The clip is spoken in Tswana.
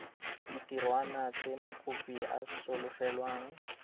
ditirwana tse mokopi a solofelwang